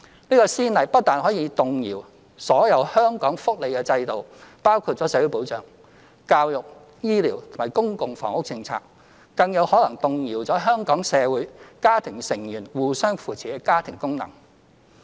這個先例不但可能動搖所有香港的福利制度，包括社會保障、教育、醫療及公共房屋政策，更有可能動搖香港社會家庭成員互相扶持的家庭功能。